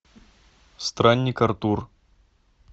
странник артур